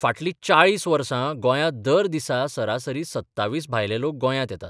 फाटलीं 40 वर्सा गोंयांत दर दिसा सरासरी 27 भायले लोक गोंयांत येतात.